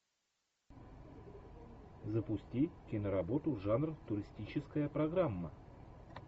запусти киноработу жанр туристическая программа